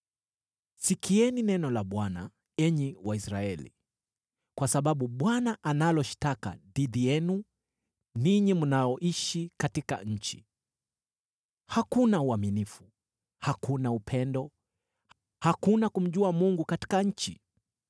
Sikieni neno la Bwana , enyi Waisraeli, kwa sababu Bwana analo shtaka dhidi yenu ninyi mnaoishi katika nchi: “Hakuna uaminifu, hakuna upendo, hakuna kumjua Mungu katika nchi.